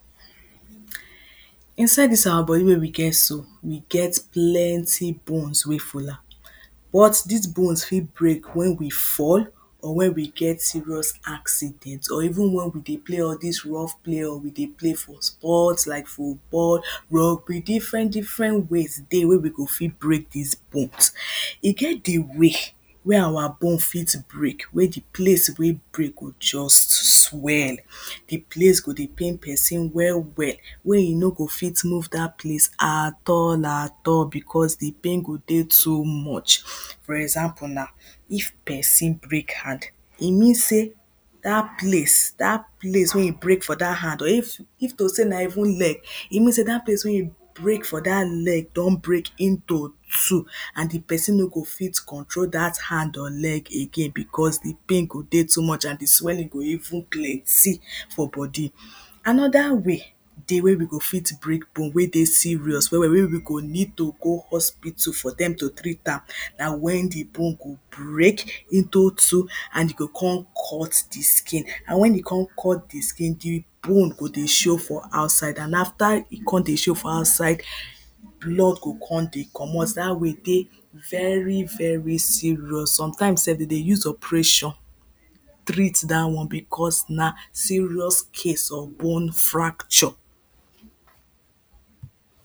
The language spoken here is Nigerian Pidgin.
Inside dis our body wey we get so, we get plenty bones full am But dis bones fit break wen we fall or wen we get serious acci dent or even wen we dey play or dis rough play or we dey play ___-- like footbal --- be different different ways dey wey we go fit break dis bones. E get di way wey our bones fit break, wey di place wey break go just swell di place go dey pain person well well wey e no go fit move dat place at all at all becos di pain go dey too much, for example na if person break hand, e mean sey dat place dat place wey break for dat hand or if to sey na even leg, e mean sey dat place wey e break for dat leg don break into two and di person no go fit control dat leg or hand again becos di pain go dey too much and di swelling go even plenty for body Another way dey we go fit break bone wey dey serious well well wey we go need to go hospital for dem to treat am, na wen di bone go break into two and e go come cut di skin, and wen e come cut di skin, di bone go dey show for outside and after e come dey show for outside blood go come dey comot dat way dey very very serious, sometimes self dem dey use operation treat dat one becos na serious case of bone fracture